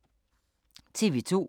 TV 2